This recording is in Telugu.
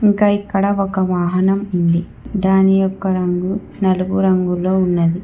ఇంకా ఇక్కడ ఒక వాహనం ఉంది దాని యొక్క రంగు నలుపు రంగులో ఉన్నది.